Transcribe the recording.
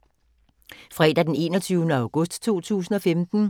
Fredag d. 21. august 2015